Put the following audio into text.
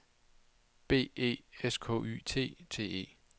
B E S K Y T T E